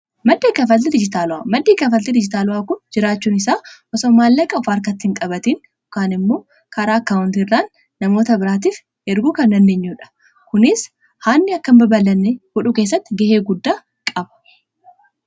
maddii kanfaalti diijitaa, maddii kanfaalti diijitala kun jiraachuun isaa osoo maallaaqa of harkaatti hin qabaatiin yokan immoo karaa akaawunti irraan namoota biraatiif erguu kan dandeenyuudha kuniis haannii akkaa in baabaalanne godhuu keessatti gahee guddaa qabaa.